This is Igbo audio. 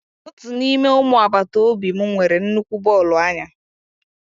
Otu n'ime ụmụ agbata obi m nwere nnukwu bọọlụ anya.